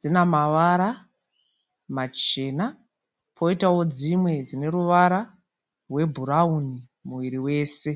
dzina mavara machena koitawo dzimwe dzine ruvara rwebhurauni muviri wese.